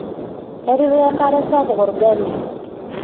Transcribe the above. Etipika enkare sapuk olgali.